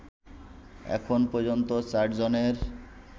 এখন পর্যন্ত ৪ জনের